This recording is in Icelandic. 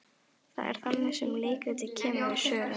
Það er þannig sem leikritið kemur við sögu.